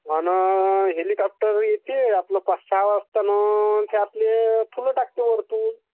आणा हेलिकॉप्टर येते आपला पाच सहा वाजता आणा थे आपले फुला टाकते वरतून.